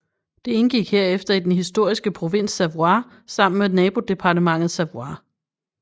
Det indgik herefter i den historiske provins Savoie sammen med nabodepartementet Savoie